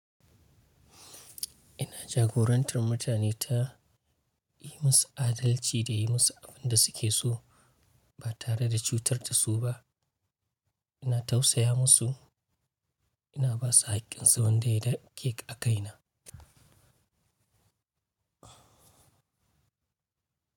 Ina jagorantar mutane ta yi musu adalci da yi musu abin da suke so ba tare da cutar da su ba. Ina tausaya musu, ina ba su haƙƙinsu wanda ya dake a kaina.